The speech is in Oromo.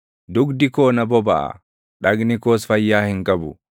Dugdi koo na bobaʼa; dhagni koos fayyaa hin qabu.